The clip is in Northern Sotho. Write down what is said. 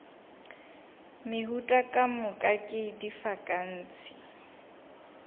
meuta ka moka ke difankase